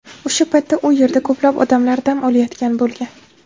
O‘sha paytda u yerda ko‘plab odamlar dam olayotgan bo‘lgan.